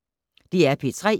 DR P3